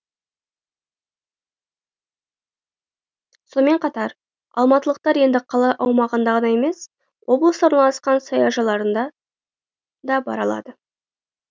сонымен қатар алматылықтар енді қала аумағындағы ғана емес облыста орналасқан саяжайларнына да бара алады